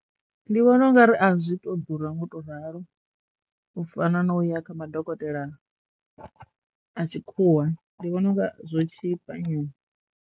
Ndi vhona ungari azwi th ḓura ngo to ralo u fana na u ya kha madokotela a tshikhuwa ndi vhona unga zwo tshipa nyana.